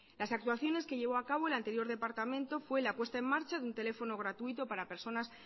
las actuaciones que llevó a cabo el anterior departamento fue la puesta en marcha de un teléfono gratuito para personas